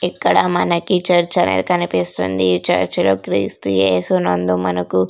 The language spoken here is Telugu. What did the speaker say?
ఇక్కడ మనకి చర్చ్ అనేది కనిపిస్తుంది ఈ చర్చ్ లో క్రీస్తు యేసు నందు మనకు--